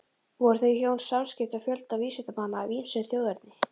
Voru þau hjón samskipa fjölda vísindamanna af ýmsu þjóðerni.